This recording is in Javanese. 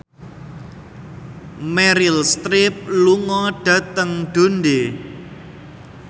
Meryl Streep lunga dhateng Dundee